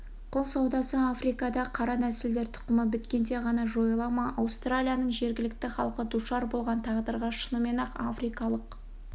құл саудасы африкада қара нәсілдер тұқымы біткенде ғана жойыла ма аустралияның жергілікті халқы душар болған тағдырға шынымен-ақ африкалық